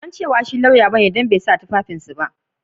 Ban san cewa shi lauya ba ne dan bai sa tufafin su ba.